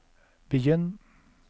begynn